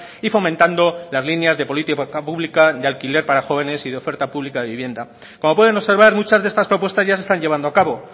y fomentando las líneas de política pública de alquiler para jóvenes y de oferta pública de vivienda como pueden observar muchas de estas propuestas ya se están llevando a cabo